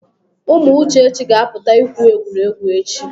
Ụmụ Uchechi ga apụta ịkwụ egwuregwu echi.